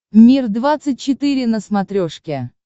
мир двадцать четыре на смотрешке